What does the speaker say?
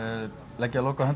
leggja lokahönd á